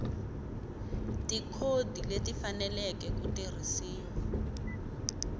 tikhodi leti faneleke ku tirhisiwa